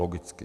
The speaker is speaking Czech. Logicky.